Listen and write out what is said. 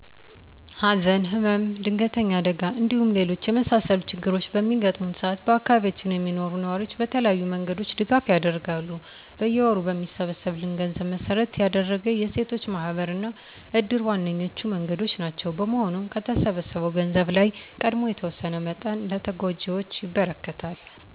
ሀዘን፣ ህመም፣ ድንገተኛ አደጋ እንዲሁም ሌሎች የመሳሰሉት ችግሮች በሚገጥመው ሰአት በአካባቢያችን የሚኖሩ ነዋሪዎች በተለያዩ መንገዶች ድጋፍ ያደርጋሉ። በየወሩ በሚሰበሰብን ገንዘብ መሰረት ያደረገ የሴቶች ማህበር እና እድር ዋነኞቹ መንገዶች ናቸው። በመሆኑም ከተሰበሰበው ገንዘብ ላይ ቀድሞ የተወሰነ መጠን ለተጎጂዎች ይበረክታል።